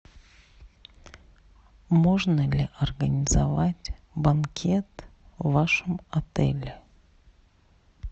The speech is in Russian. можно ли организовать банкет в вашем отеле